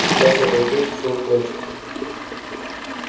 сейчас я проснусь и сон кончится